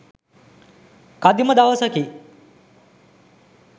කදිම දවසකි.